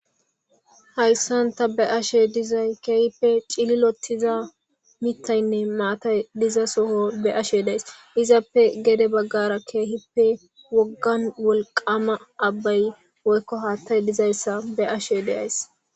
Hayssan tay be'ashe dizayssi keehippe cililiotuza miththaynne maatay diza soho be'ashe de'as. Izapoe gede baggara keehipe woggan wolqam abbay woykko haaththay dizayssa be'ashe de'as.